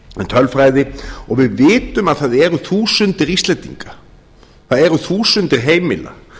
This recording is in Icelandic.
tölfræði og við vitum að það eru þúsundir íslendinga það eru þúsundir heimila